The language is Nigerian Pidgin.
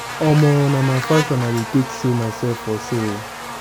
omo na my fashion i dey take show myself for show.